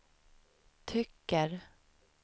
tycker